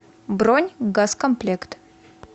бронь газкомплект